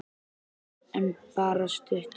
Arnar: En bara stutt.